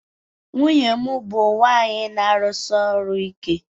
Nwunye m bụ nwanyị na-arụsi ọrụ ike